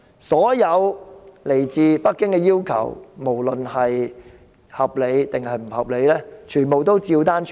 所有來自北京的要求，無論合理或不合理，她照單全收。